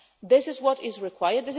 This is what is required.